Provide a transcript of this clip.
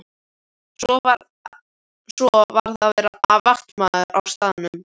Svo varð að vera vaktmaður á staðnum.